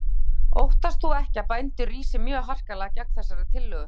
Þóra Kristín: Óttast þú ekki að bændur rísi mjög harkalega gegn þessari tillögu?